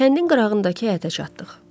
Kəndin qırağındakı həyətə çatdıq.